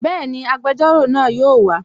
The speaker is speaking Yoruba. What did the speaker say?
Bẹ́ẹ̀ni, agbẹjọ́rò náà yóò wa